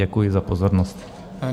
Děkuji za pozornost.